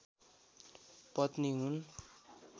पत्नी हुन्